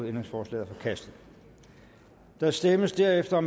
ændringsforslaget er forkastet der stemmes derefter